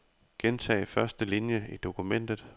Gentag første linie i dokumentet.